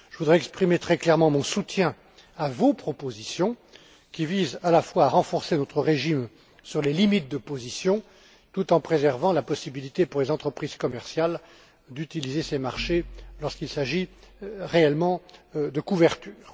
Je voudrais exprimer très clairement mon soutien à vos propositions qui visent à la fois à renforcer votre régime sur les limites de position tout en préservant la possibilité pour les entreprises commerciales d'utiliser ces marchés lorsqu'il s'agit réellement de couverture.